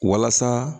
Walasa